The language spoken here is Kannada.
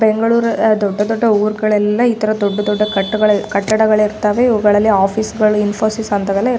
ಬೆಂಗಳೂರು ದೊಡ್ಡ ದೊಡ್ಡ ಊರುಗಳೆಲ್ಲ ಇತರ ದೊಡ್ಡ ದೊಡ್ಡ ಕಟ್ಟಡ ಕಟ್ಟಡಗಳು ಇರ್ತವೆ ಇವುಗಳಲ್ಲಿ ಆಫೀಸ್ಗಳು ಇನ್ಫೋಸಿ ಸ್ಗಳೆಲ್ಲ ಅಂತಾವೆಲ್ಲ ಇರ್‌ --